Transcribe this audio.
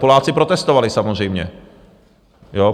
Poláci protestovali, samozřejmě.